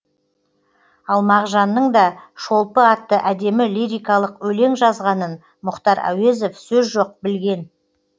ал мағжанның да шолпы атты әдемі лирикалық өлең жазғанын мұхтар әуезов сөз жоқ білген